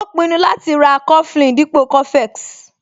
Ó pinnu láti ra coflin dípò cofex